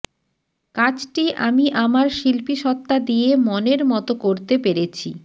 কাজটি আমি আমার শিল্পীসত্তা দিয়ে মনের মতো করতে পেরেছি